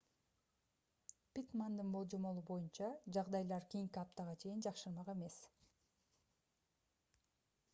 питтмандын божомолу боюнча жагдайлар кийинки аптага чейин жакшырмак эмес